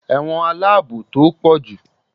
ẹwọ́n alabò to pojú